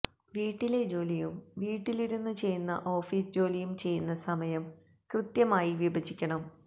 വീട്ടിലെ ജോലിയും വീട്ടിലിരുന്ന ചെയ്യുന്ന ഓഫീസ് ജോലിയും ചെയ്യുന്ന സമയം കൃത്യമായി വിഭജിക്കണം